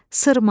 Sırma,